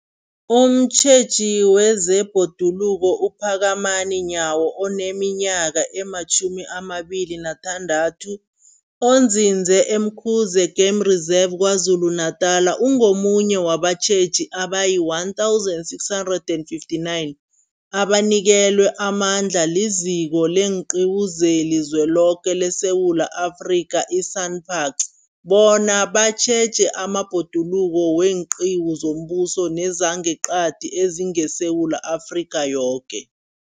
Umtjheji wezeBhoduluko uPhakamani Nyawo oneminyaka ema-26, onzinze e-Umkhuze Game Reserve KwaZulu-Natala, ungomunye wabatjheji abayi-1 659 abanikelwe amandla liZiko leenQiwu zeliZweloke leSewula Afrika, i-SANParks, bona batjheje amabhoduluko weenqiwu zombuso nezangeqadi ezingeSewula Afrika yoke.